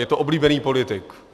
Je to oblíbený politik.